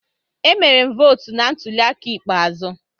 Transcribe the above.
Emere m vootu na ntuli aka ikpeazụ.